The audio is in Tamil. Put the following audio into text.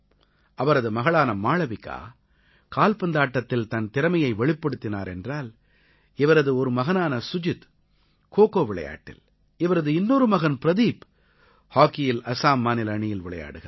அவரது மகளான மாளவிகா கால்பந்தாட்டத்தில் தன் திறமையை வெளிப்படுத்தினார் என்றால் இவரது ஒரு மகனான சுஜித் கோகோ விளையாட்டில் இவரது இன்னொரு மகன் பிரதீப் ஹாக்கியில் அஸாம் மாநில அணியில் விளையாடுகிறார்